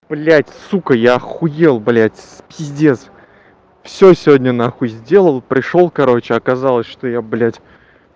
блядь сука я охуел блядь пиздец всё сегодня на хуй сделал пришёл короче оказалось что я блядь